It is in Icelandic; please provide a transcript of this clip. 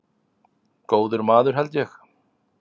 Góður maður held ég.